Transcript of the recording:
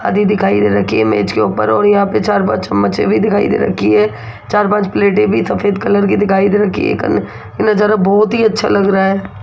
आधी दिखाई दे रखी है मेज के ऊपर और यहां पे चार पांच चम्मचे भी दिखाई दे रखी है चार पांच प्लेटे भी सफेद कलर की दिखाई दे रखी है एक ये नजारा बहुत ही अच्छा लग रहा है।